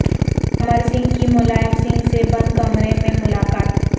امر سنگھ کی ملائم سنگھ سے بند کمرہ میں ملاقات